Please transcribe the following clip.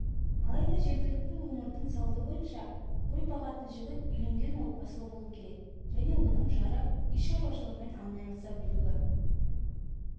алайда жергілікті өңірдің салты бойынша қой бағатын жігіт үйленген отбасылы болуы керек және оның жары үй шаруашылығымен айналыса білуі